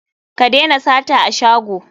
Ku dena sata a shago.